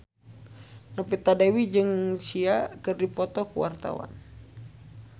Novita Dewi jeung Sia keur dipoto ku wartawan